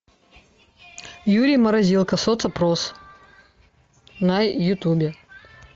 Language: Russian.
юрий морозилка соцопрос на ютубе